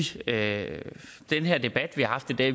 sige at den her debat vi har haft i dag